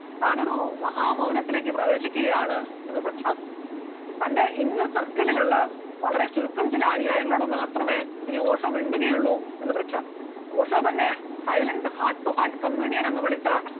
താനൊരു മഹാമൗനത്തിലേക്ക് പ്രവേശിക്കുകയാണ് എന്ന് പ്രഖ്യാപിക്കുന്നു, തന്റെ inner circle കളിലുള്ള വളരെ ചുരുക്കം ചില അനുയായികളോട് മാത്രമേ ഇനി ഓഷോ മിണ്ടുകയൊള്ളു എന്ന് പ്രഖ്യാപിക്കുന്നു, ഓഷോ തന്നെ silent heart to heart communion എന്ന് വിളിച്ച